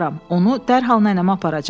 Onu dərhal nənəmə aparacam.